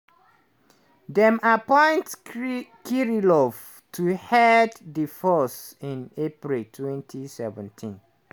dem appoint kirillov to head di force in april 2017.